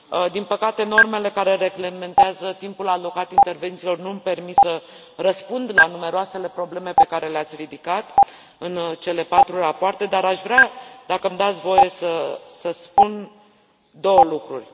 Din păcate, normele care reglementează timpul alocat intervențiilor nu mi permit să răspund la numeroasele probleme pe care le ați ridicat în cele 4 rapoarte, dar aș vrea, dacă mi dați voie, să spun două lucruri.